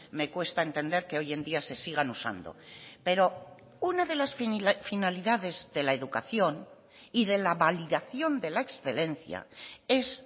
me cuesta entender que hoy en día se sigan usando pero una de las finalidades de la educación y de la validación de la excelencia es